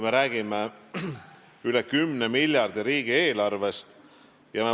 Me räägime üle 10 miljardi suurusest riigieelarvest.